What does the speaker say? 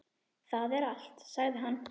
Það er allt, sagði hann.